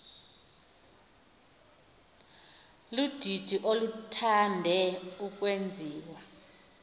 ludidi oluthande ukwenziwa